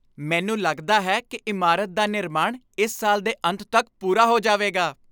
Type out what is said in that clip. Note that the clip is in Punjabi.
ਮੈਨੂੰ ਲੱਗਦਾ ਹੈ ਕਿ ਇਮਾਰਤ ਦਾ ਨਿਰਮਾਣ ਇਸ ਸਾਲ ਦੇ ਅੰਤ ਤੱਕ ਪੂਰਾ ਹੋ ਜਾਵੇਗਾ।